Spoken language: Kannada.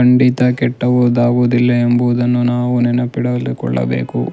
ಖಂಡಿತ ಕೆಟ್ಟದು ಆಗುವುದಿಲ್ಲ ಎಂಬುದನ್ನು ನಾವು ನೆನಪಿನಲ್ಲಿ ಇಟ್ಟುಕೊಳ್ಳಬೇಕು.